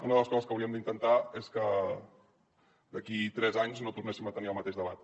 una de les coses que hauríem d’intentar és que d’aquí tres anys no tornéssim a tenir el mateix debat